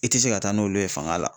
I tɛ se ka taa n'olu ye fanga la